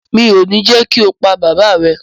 mi ò ní jẹ́ kí o pa bàbáà rẹ.